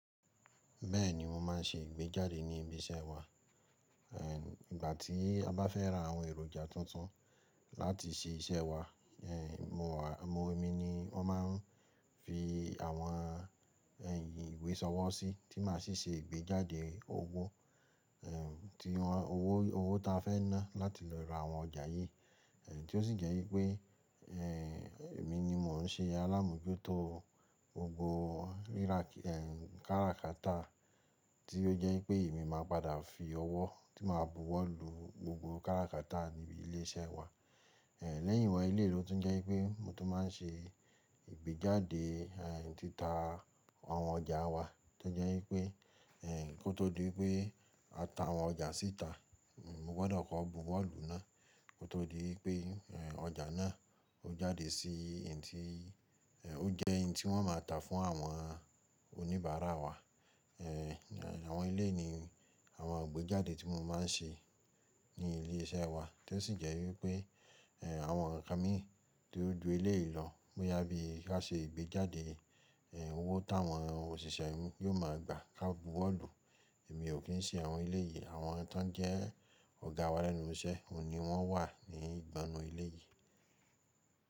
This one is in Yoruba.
Bẹ́ẹ̀ni mo máa ń ṣe ìgbéjáde ní ibi iṣẹ́ wa. Ê ìgbà tí a bá fẹ́ ra àwọn èròjà tuntun láti ṣe iṣẹ́ wa, Ê mo wà emi ni wọ́n máa ń fi àwọn ẹ̀h ìwé ṣọwọ́ sí tí máa sì ṣe ìgbéjáde owó. Ê ti wọn owó owó ta fẹ́ ná láti lọ ra àwọn ọjà yí. Ê tí ó sì jẹ́ wípé, Ê èmi ni mò ń ṣe alámójútó gbogbo rírà Ê káràkátà tí ó jẹ́ wípé èmi máa padà fi ọwọ́ tí màá bu wọ́ lu gbogbo káràkátà níbi ilé iṣẹ́ wa. Ê lẹ́yìn wa eleyii ló tún jẹ́ wípé mo tún máa ń ṣe ìgbéjáde Ê títa àwọn ọjà wa tí ó jẹ́ wípé Ê kó tó di wípé a ta àwọn ọjà síta, mo gbọ́dọ̀ kọ́ bu wọ́ lu náà kó tó di wípé ọjà náà ó jáde sí ì n ti í Ê ó jẹ́ n tí wọ́n máa tà fún àwọn oníbàárà wa. Ê àwọn eleyii ni àwọn ìgbéjáde tí mo máa ń ṣe ní ilé iṣẹ́ wa tí ó sì jẹ́ wípé, Ê àwọn nkan mi ti o ju eleyìí lọ bóyá bí ka ṣe igbéjáde, Ê owó táwọn òṣìṣẹ́ yiò máa gba ká bu wọ́ lu. Èmi ò kí ń ṣe àwọn eleyìí àwọn tó ń jẹ́ ọ̀gá wa lẹ́nu iṣẹ́ oni wọ́n wà ní ìgbọnnu eleyìí.